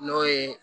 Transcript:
N'o ye